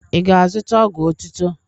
Ị ga-azụta ọgwụ otụtọ?